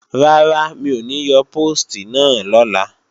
Rárá, mi ò ní yọ póòstì náà lọ́la